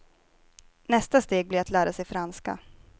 Nästa steg blir att lära sig franska.